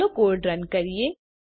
ચાલો code run કરીએ